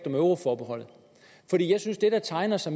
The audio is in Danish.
euroforbeholdet jeg synes der tegner sig